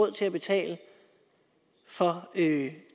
at det